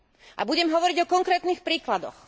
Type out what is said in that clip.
A budem hovoriť o konkrétnych príkladoch.